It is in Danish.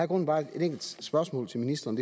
grunden bare et enkelt spørgsmål til ministeren